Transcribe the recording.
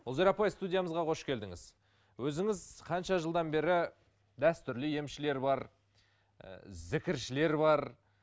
ұлзира апай студиямызға қош келдіңіз өзіңіз қанша жылдан бері дәстүрлі емшілер бар і зікіршілер бар